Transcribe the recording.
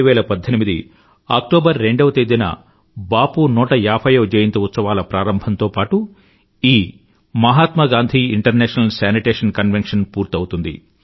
2018 October రెండవ తేదీన బాపూ 150వ జయంతి ఉత్సవాల ప్రారంభం తో పాటూ ఈ Mahatma Gandhi international sanitation convention పూర్తవుతుంది